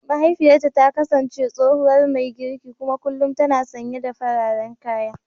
Mahaifiyarta ta kasance tsohuwar mai girki kuma kullum tana sanye da fararen kaya.